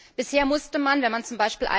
Bisher musste man, wenn man z.